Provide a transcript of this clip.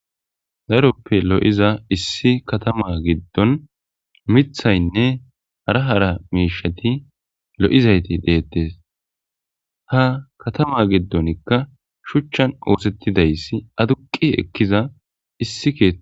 Darope lo'za issi Katama gidon mithayne hara hara mishati lo'zayti betes ha Katama gidonika shuchan osetidaysi adqi ekiza issi kethi.